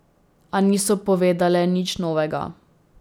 A niso povedale nič novega.